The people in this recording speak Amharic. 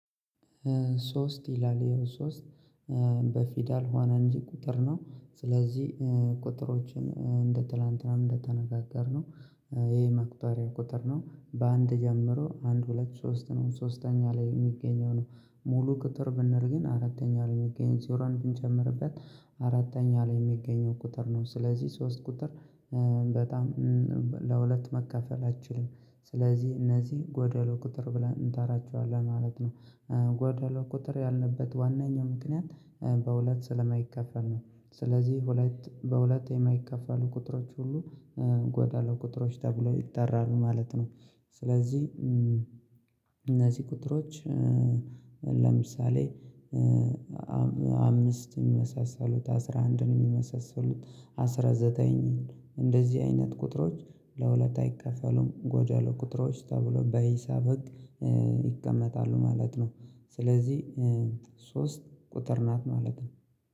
ሶስት ይላል የሆነ ሶስት በፊደል ሆነ እንጂ ቁጥር ነው ስለዚህ ቁጥሮችን እንደ ትላንትናም እንደተነጋገርነው ይሄ መቁጠሪያ ቁጥር ነው በአንድ ጀምሮ አንድ ሁለት ሶስት ነው ሶስተኛ ላይ የሚገኘው ነው። ሙሉ ቁጥር ብንል ግን አራተኛ ላይ የሚገኘው ዜሮን ብንጨምርበት አራተኛ ላይ የሚገኘው ቁጥር ነው ስለዚህ ሶስት ቁጥር በጣም ለሁለት መካፈል አትችልም። ስለዚህ እነዚህ ጎደሎ ቁጥር ብለን እንጠራቸዋለን ማለት ነው። ጎደሎ ቁጥር ያለበት ዋናኛው ምክንያት በሁለት ስለማይከፈል ነው። ስለዚህ ሁለት በሁለት የማይከፈሉ ቁጥሮች ሁሉ ጎደሎ ቁጥሮች ተብለው ይጠራሉ ማለት ነው። ስለዚህ እነዚህ ቁጥሮች ለምሳሌ አምስት የሚመሳሰሉት አስራ አንድን የሚመሳሰሉት አስራ ዘጠኝን እንደዚህ አይነት ቁጥሮች ለሁለት አይካፈሉም ጎደሎ ቁጥሮች ተብሎ በሂሳብ ህግ ይቀመጣሉ ማለት ነው። ስለዚህ ሶስት ቁጥር ናት ማለት ነው